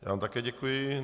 Já vám také děkuji.